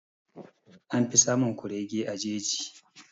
An fi samun kurege a jeji.